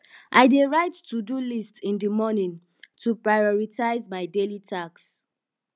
i dey write todo list in the morning to prioritize my daily tasks